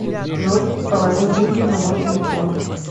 джой положи деньги на мой телефон